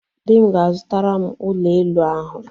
Di m ga-azụtara m ụlọ elụ ahụ